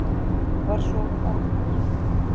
Var svo um aldir.